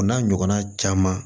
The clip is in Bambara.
O n'a ɲɔgɔnna caman